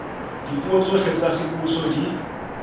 dipuo tsohle tsa semmuso di